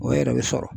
O yɛrɛ bɛ sɔrɔ